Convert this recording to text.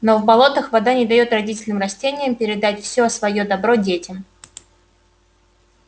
но в болотах вода не даёт родителям-растениям передать все своё добро детям